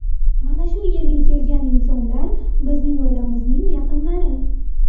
Mana shu yerga kelgan insonlar, bizning oilamizning yaqinlari.